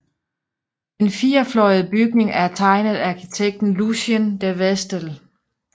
Den firefløjede bygning er tegnet af arkitekten Lucien De Vestel